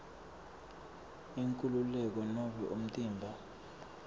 inkhululeko nobe umtimba